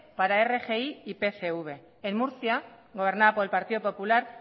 para rgi y pcv en murcia gobernada por el partido popular